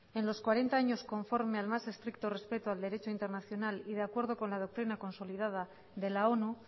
en los cuarenta años conforme al más estricto respeto al derecho internacional y de acuerdo con la doctrina consolidada de la onu